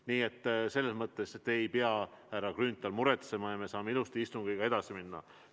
Nii et selles mõttes te ei pea, härra Grünthal, muretsema ja me saame ilusti istungiga edasi minna.